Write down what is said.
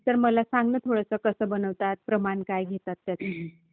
तर मला सांग ना थोडंसं, कसं बनवतात, प्रमाण काय घेतात त्यासाठी.